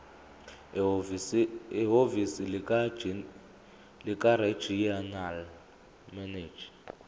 ehhovisi likaregional manager